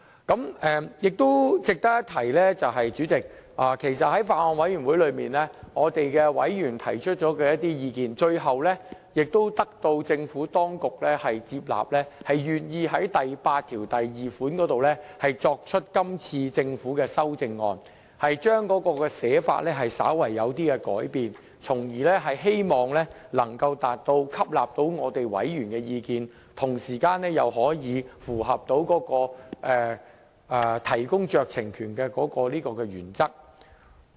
主席，值得一提的是，在法案委員會的委員曾提出了一些意見，最後政府當局接納了，願意就第82條提出今次政府的修正案，將原本的寫法稍為改變，從而希望能做到既吸納委員的意見，同時又可以符合提供酌情權的原則。